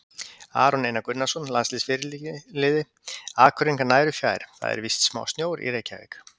Aron Einar Gunnarsson, landsliðsfyrirliði: Akureyringar nær og fjær það er vist smá snjór í reykjavík.